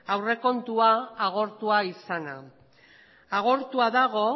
aurrekontua agortua izana agortua dago